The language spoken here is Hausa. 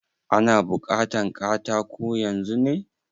Ana bukatan katako yanzun ne?